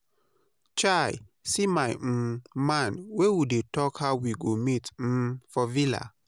Chai! see my um man wey we don talk how we go meet um for villa.